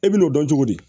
E bɛ n'o dɔn cogo di